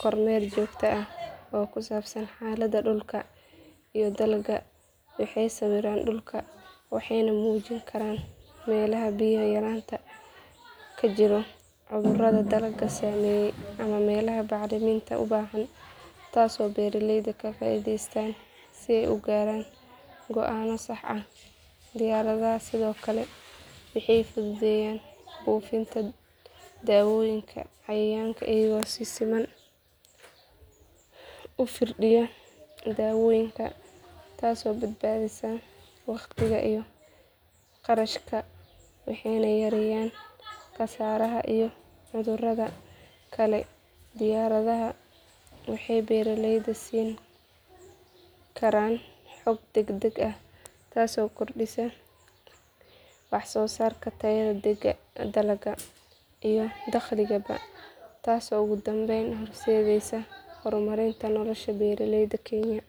kormeer joogto ah oo ku saabsan xaaladda dhulka iyo dalagga waxay sawiraan dhulka waxayna muujin karaan meelaha biyo yaraanta ka jirto cudurrada dalagga saameeyay ama meelaha bacrinta u baahan taasoo beeralaydu ka faa'iideystaan si ay u gaaraan go'aanno sax ah diyaaradaha sidoo kale waxay fududeeyaan buufinta dawooyinka cayayaanka iyagoo si siman u firdhiya dawooyinka taasoo badbaadisa waqtiga iyo kharashka waxayna yareeyaan khasaaraha iyo cudurrada kale diyaaradaha waxay beeraleyda siin karaan xog degdeg ah taasoo kordhisa wax soo saarka tayada dalagga iyo dakhligaba taasoo ugu dambeyn horseedaysa horumarinta nolosha beeraleyda kenya.